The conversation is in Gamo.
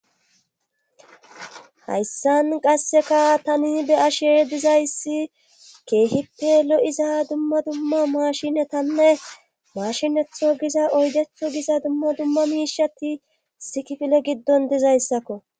hayssan qasseka tani be7ashee dizayssi keehippe lo7iza dumma dumma mashinetanne mashinetho giza oydetho giza dumma dumma miishati issi kifile giddon dizayssakko